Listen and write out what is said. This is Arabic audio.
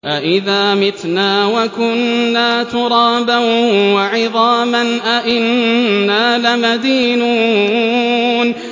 أَإِذَا مِتْنَا وَكُنَّا تُرَابًا وَعِظَامًا أَإِنَّا لَمَدِينُونَ